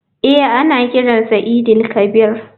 Eh ana kiran sa eid il kabir.